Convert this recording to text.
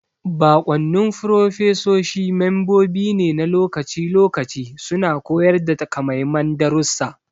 Baƙwannin furofesoshi membobi ne na lokaci-lokaci suna koyar da takamaiman darussa.